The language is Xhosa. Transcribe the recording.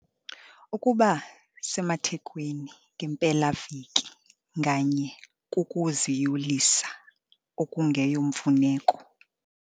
Ukuba semathekweni ngempelaveki nganye kukuziyolisa okungeyomfuneko.